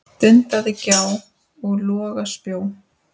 dunaði gjá og loga spjó.